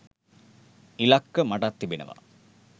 ඉලක්ක මටත් තිබෙනවා.